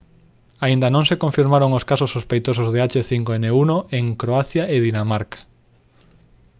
aínda non se confirmaron os casos sospeitosos de h5n1 en croacia e dinamarca